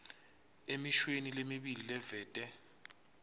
emishweni lemibili livete